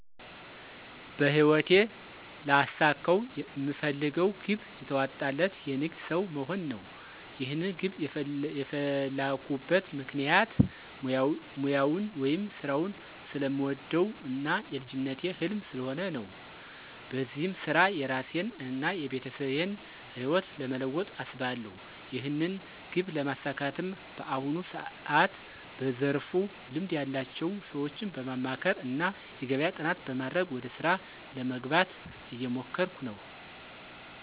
በህይወቴ ላሳካው ምፈልገው ግብ የተዋጣለት የንግድ ሠው መሆን ነው። ይህንን ግብ የፈላኩበት ምክንያት ሙያውን ወይም ስራውን ስለምወደው እና የልጅነቴ ህልም ስለሆነ ነው። በዚህም ስራ የራሴን እና የቤተሰቤን ህይወት ለመለወጥ አስባለሁ። ይህንን ግብ ለማሳካትም በአሁኑ ሰዓት በዘርፉ ልምድ ያላቸው ሰዎችን በማማከር እና የገበያ ጥናት በማድረግ ወደ ስራ ለመግባት እየሞከርኩ ነው።